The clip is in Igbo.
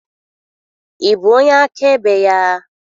Ị bụ onye akaebe ya?